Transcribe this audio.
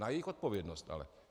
Na jejich odpovědnost ale.